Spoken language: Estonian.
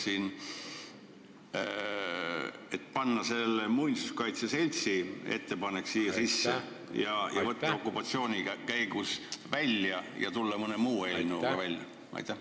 Mis te sellest arvate, ehk võiks arvestada muinsuskaitse seltsi ettepanekut ja võtta sõnad "okupatsiooni käigus" välja või siis tulla mõne muu eelnõuga välja?